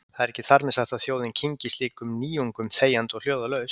Það er ekki þar með sagt að þjóðin kyngi slíkum nýjung- um þegjandi og hljóðalaust.